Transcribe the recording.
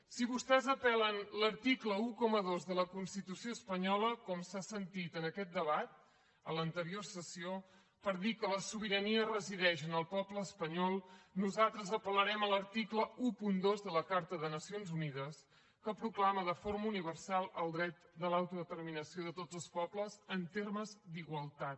si vostès apel·len l’article dotze de la constitució espanyola com s’ha sentit en aquest debat a l’anterior sessió per dir que la sobirania resideix en el poble espanyol nosaltres apel·larem a l’article dotze de la carta de nacions unides que proclama de forma universal el dret de l’autodeterminació de tots els pobles en termes d’igualtat